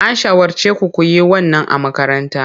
An shawarce ku ku yi wannan a makaranta.